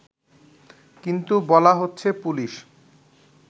কিন্তু বলা হচ্ছে পুলিশ